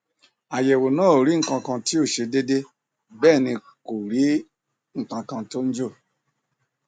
àyẹwò náà ò rí nǹkankan tí ò ṣe déédé bẹẹ kò rí nǹkankan tó ń jò